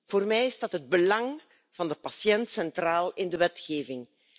Voor mij staat het belang van de patiënt centraal in de wetgeving.